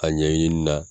A ɲɛɲini na